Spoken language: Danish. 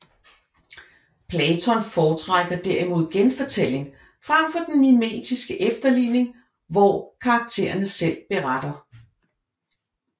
Platon foretrækker derimod genfortælling frem for den mimetiske efterligning hvor karakterne selv beretter